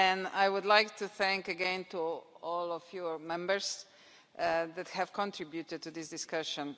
I would like to thank again all of your Members who have contributed to this discussion.